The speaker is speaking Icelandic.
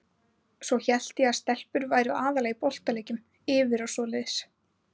Svo hélt ég að stelpur væru aðallega í boltaleikjum, yfir og svoleiðis.